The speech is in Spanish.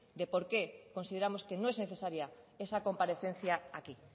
de por qué consideramos que no es necesaria esa comparecencia aquí